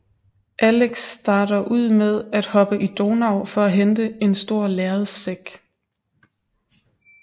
Alex starter ud med at hoppe i Donau for at hente en stor lærredssæk